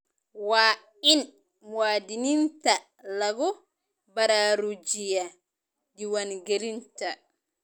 Waa in muwaadiniinta lagu baraarujiyaa diiwaangelinta.